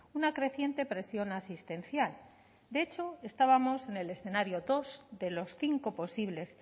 una creciente presión asistencial de hecho estábamos en el escenario dos de los cinco posibles